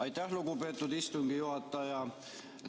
Aitäh, lugupeetud istungi juhataja!